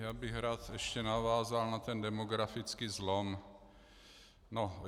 Já bych rád ještě navázal na ten demografický zlom.